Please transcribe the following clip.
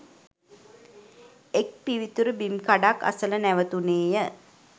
එක් පිවිතුරු බිම් කඩක් අසල නැවතුණේ ය.